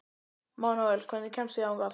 Manuel, hvernig kemst ég þangað?